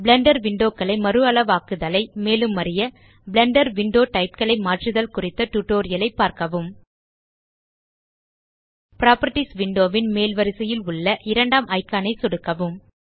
Blender window களை மறுஅளவாக்குதலை மேலும் அறிய பிளெண்டர் விண்டோ டைப் களை மாற்றுதல் குறித்த டியூட்டோரியல் ஐ பார்க்கவும் புராப்பர்ட்டீஸ் விண்டோ ன் மேல் வரிசையில் உள்ள இரண்டாம் இக்கான் ஐ சொடுக்கவும்